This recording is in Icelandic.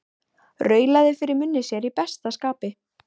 Raulaði fyrir munni sér í besta skapi.